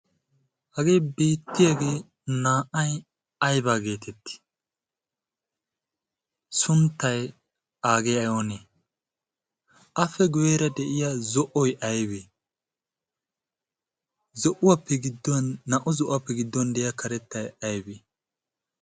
hagee beettiyaagee naa'ay aybaa geetetti sunttay aagee ayoonee afe gueera de'iya zo'oy aibee zouwaapgd naa'u zo'uwaappe gidduwan de'iya karettai aybee?